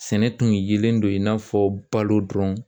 Sɛnɛ tun yelen don i n'a fɔ balo dɔrɔn